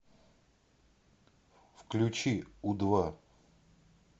включи у два